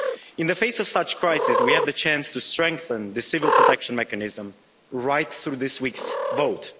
In the face of such crisis, we have the chance to strengthen the Civil Protection Mechanism through this week's vote.